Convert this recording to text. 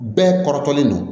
Bɛɛ kɔrɔtɔlen don